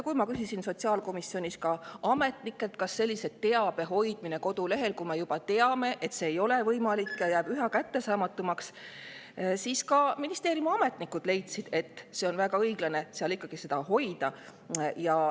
Kui ma küsisin sotsiaalkomisjonis ametnikelt, kas sellise teabe hoidmine kodulehel, kui me juba teame, et see ei ole võimalik ja jääb üha kättesaamatumaks, siis ministeeriumi ametnikud leidsid, et on väga õiglane seda seal ikkagi hoida.